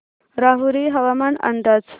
राहुरी हवामान अंदाज